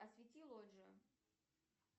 освети лоджию